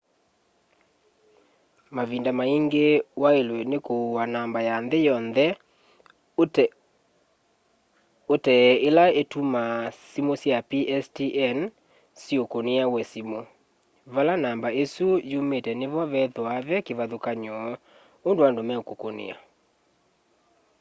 mavinda maingi wailwe ni kuua namba ya nthi yonthe utee ila itumaa simu sya pstn syukunia we simu vala namba isu yumite nivo vethwaa ve kivathukany'o undu andu meukukunia